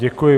Děkuji.